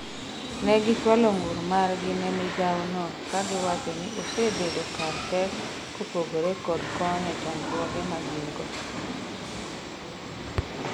ne gichwalo ng'ur margi ne migawo no ka giwacho ni osebedo kar pek kopogore kod konyo chandruoge ma gin go